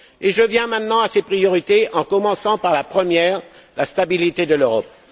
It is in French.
J'en viens maintenant à ces priorités en commençant par la première la stabilité de l'Europe.